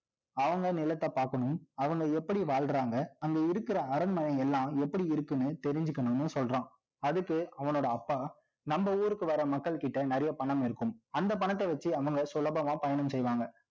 அவங்க நிலத்தை பார்க்கணும், அவங்க எப்படி வாழ்றாங்க அங்க இருக்கிற அரண்மனை எல்லாம், எப்படி இருக்குன்னு, தெரிஞ்சுக்கணும்னு சொல்றான் அதுக்கு அவனோட அப்பா, நம்ம ஊருக்கு வர மக்கள்கிட்ட, நிறைய பணம் இருக்கும். அந்த பணத்தை வச்சு, அவங்க சுலபமா பயணம் செய்வாங்க